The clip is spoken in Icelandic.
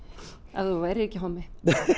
ef þú værir ekki hommi